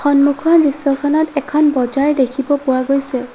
সন্মুখৰ দৃশ্যখনত এখন বজাৰ দেখিব পোৱা গৈছে।